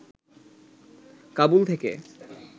কাবুল থেকে